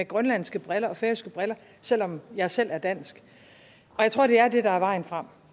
grønlandske briller og færøske briller selv om jeg selv er dansk jeg tror det er det der er vejen frem